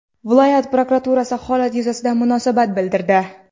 Viloyat prokuraturasi holat yuzasidan munosabat bildirdi.